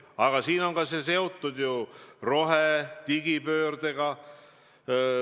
Aga see on seotud rohe- ja digipöördega.